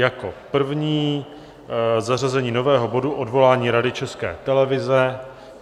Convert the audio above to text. Jako první zařazení nového bodu Odvolání Rady České televize.